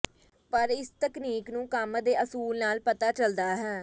ਪਰ ਇਸ ਤਕਨੀਕ ਨੂੰ ਕੰਮ ਦੇ ਅਸੂਲ ਨਾਲ ਪਤਾ ਚੱਲਦਾ ਹੈ